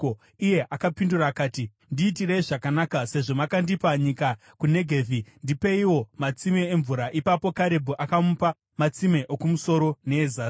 Iye akapindura akati, “Ndiitirei zvakanaka. Sezvo makandipa nyika kuNegevhi, ndipeiwo matsime emvura.” Ipapo Karebhu akamupa matsime okumusoro neezasi.